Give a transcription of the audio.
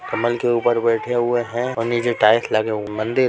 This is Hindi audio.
कमल के ऊपर बैठे हुए है और नीचे टाइल्स लगे हुए मंदिर--